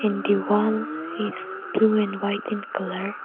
and the wall is blue and white in colour.